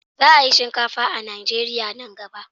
Za a yi shinkafa a Najeriya nan gaba.